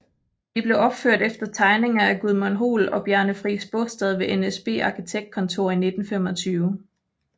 De blev opført efter tegninger af Gudmund Hoel og Bjarne Friis Baastad ved NSB Arkitektkontor i 1925